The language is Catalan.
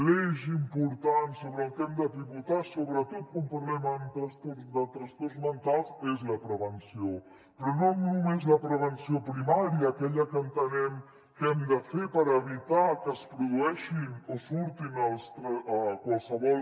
l’eix important sobre el qual hem de pivotar sobretot quan parlem de trastorns mentals és la prevenció però no només la prevenció primària aquella que entenem que hem de fer per evitar que es produeixin o surtin qualssevol